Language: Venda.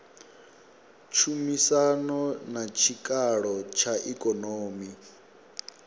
tshumisano na tshikalo tsha ikonomi